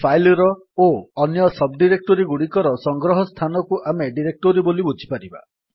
file ର ଓ ଅନ୍ୟ ସବ୍ ଡିରେକ୍ଟୋରୀଗୁଡିକର ସଂଗ୍ରହ ସ୍ଥାନକୁ ଆମେ ଡିରେକ୍ଟୋରୀ ବୋଲି ବୁଝିପାରିବା